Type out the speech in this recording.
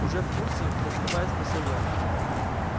уже в курсе прозревая спросил я